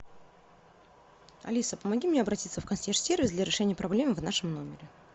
алиса помоги мне обратиться в консьерж сервис для решения проблемы в нашем номере